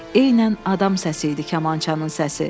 Eynən adam səsi idi kamançanın səsi.